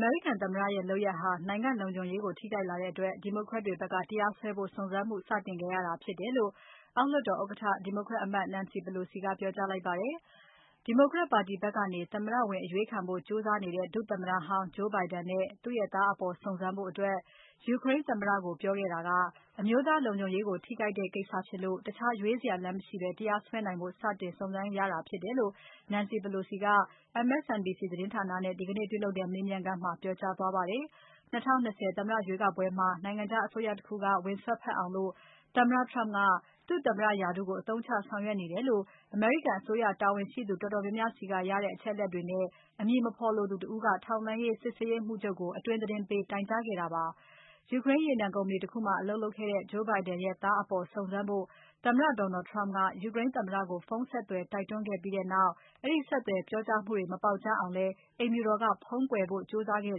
မေရိကန်သမ္မတရဲ့ လုပ်ရပ်ဟာ နိုင်ငံ့လုံခြုံရေးကို ထိခိုက်လာတဲ့အတွက် Democrat တွေဖက်က တရားစွဲဖို့ စုံစမ်းမှု စတင်ခဲ့ရတာဖြစ်တယ်လို့ အောက်လွှတ်တော်ဥက္ကဋ္ဌ Nancy Pelosi ကပြောကြားလိုက်ပါတယ်။ Democrat ပါတီဖက်ကနေ သမ္မတလောင်းဝင်အရွေးခံဖို့ ကြိုးစားနေတဲ့ ဒုသမ္မတဟောင်း Joe Biden နဲ့သူ့သား အပေါ်စုံစမ်းဖို့ Ukraine သမ္မတကိုပြောခဲ့တာက အမျိုးသားလုံခြုံရေးကိုထိခိုက်တဲ့ကိစ္စဖြစ်လို့ တခြားရွေးစရာလမ်းမရှိဘဲ တရားစွဲနိုင်ဖို့ စတင်စုံစမ်းရတာဖြစ်တယ်လို့ Nancy Pelosi က MSNBC သတင်းဌာနနဲ့ ဒီကနေ့ ပြုလုပ်ခဲ့တဲ့ မေးမြန်းခန်းမှာ ပြောကြားသွားခဲ့ပါတယ်။ ၂၀၂၀ သမ္မတရွေးကောက်ပွဲမှာ နိုင်ငံခြားအစိုးရတခုက ဝင်စွက်ဖက်အောင် သမ္မတ Trump ကသူ့သမ္မတရာထူးကို အသုံးချ ဆောင်ရွက်နေတယ်လို့ အမေရိကန်အစိုးရတာဝန်ရှိသူတော်တော်များများဆီကရရှိတဲ့ အချက်အလက်တွေနဲ့ အမည်မဖော်လိုသူတဦးက ထောက်လှမ်းရေး စစ်ရေးရေးမှူးချုပ်ကို အတွင်းသတင်းပေး တိုင်ကြားခဲ့တာပါ။ ယူကရိန်းရေနံကုမ္ပဏီတခုမှာ အလုပ်လုပ်ခဲ့တဲ့ Joe Biden ရဲ့သားအပေါ် စုံစမ်းပေးဖို့ သမ္မတ Donald Trump ကယူကရိန်းသမ္မတကို ဖုန်းဆက်သွယ် တိုက်တွန်းခဲ့ပြီးနောက် အဲဒီဆက်သွယ်ပြောကြားမှုတွေ မပေါက်ကြားအောင်လည်း အိမ်ဖြူတော်က ဖုံးကွယ်ထားဖို့ကြိုးစားခဲ့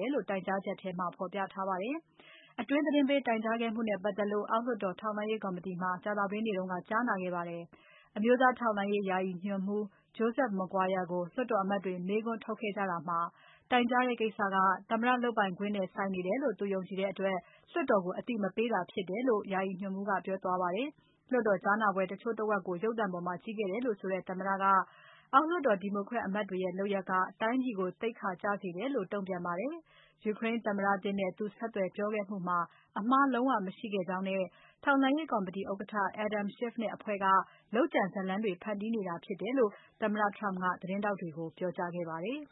တယ်လို့ တိုင်ကြားချက်ထဲမှာ ဖော်ပြထားပါတယ်။ အတွင်းသတင်းပေး တိုင်ကြားခဲ့မှုနဲ့ ပတ်သက်လို့ အောက်လွှတ်တော် ထောက်လှမ်းရေးကော်မတီမှာ ကြာသပတေးနေ့က ကြားနာခဲ့ပါတယ်။ အမျိုးသားထောက်လှမ်းရေး ယာယီညွှန်မှူး Joseph Maguire ကိုလွှတ်တော်အမတ်တွေ မေးခွန်းထုတ်ခဲ့ကြတာမှာ တိုင်ကြားတဲ့ကိစ္စက သမ္မတလုပ်ပိုင်ခွင့်နဲ့ဆိုင်နေတယ်လို့ သူယုံကြည်တဲ့အတွက် လွှတ်တော်ကို အသိမပေးတာဖြစ်တယ်လို့ ယာယီညွန်မှူး Maguire ကကြားနာပွဲမှာ ပြောကြားခဲ့ပါတယ်။ လွှတ်တော် ကြားနာပွဲတချို့တဝက်ကို ရုပ်သံပေါ်မှာ ကြည့်ခဲ့တယ်လို့ဆိုတဲ့ သမ္မတက အောက်လွှတ်တော် Democrat အမတ်တွေရဲ့ လုပ်ရပ်က တိုင်းပြည်ကို သိက္ခာကျစေတယ်လို့ တုံ့ပြန်ပါတယ်။ ယူကရိန်းသမ္မတသစ်နဲ့ သူဆက်သွယ်ပြောခဲ့မှုမှာ အမှားလုံးဝမရှိခဲ့ကြောင်းနဲ့ ထောက်လှမ်းရေးကော်မတီဥက္ကဋ္ဌ Adam Schiff နဲ့အဖွဲ့က လုပ်ကြံဇာတ်လမ်းတွေ ဖန်တီးနေတာဖြစ်တယ်လို့ သမ္မတ Trump ကသတင်းထောက်တွေကို ပြောကြားခဲ့ပါတယ်။